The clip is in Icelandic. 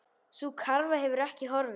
Sú krafa hefur ekki horfið.